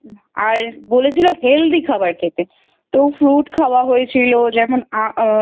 আর বলেছিলো Healthy খাবার খেতে তো Fruit খাওয়া হয়েছিল যেমন